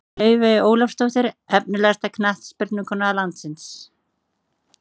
Laufey Ólafsdóttir Efnilegasta knattspyrnukona landsins?